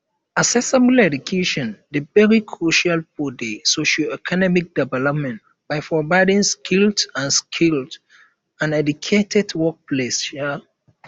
accessible education dey very crucial for di socioeconomic development by providing skilled and skilled and educated workplace um